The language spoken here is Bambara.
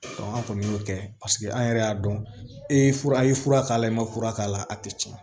an kɔni y'o kɛ paseke an yɛrɛ y'a dɔn e ye fura i ye fura k'a la i ma fura k'a la a tɛ tiɲɛ